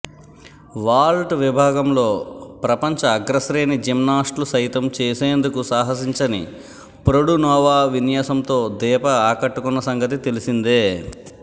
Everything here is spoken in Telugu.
వాల్ట్ విభాగంలో ప్రపంచ అగ్రశ్రేణి జిమ్నాస్ట్లు సైతం చేసేందుకు సాహసించని ప్రొడునోవా విన్యాసంతో దీప ఆకట్టుకున్న సంగతి తెలి సిందే